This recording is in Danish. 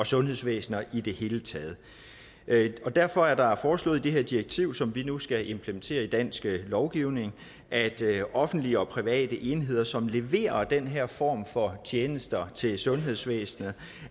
sundhedsvæsener i det hele taget derfor er der foreslået i det her direktiv som vi nu skal implementere i dansk lovgivning at offentlige og private enheder som leverer den her form for tjenester til sundhedsvæsenet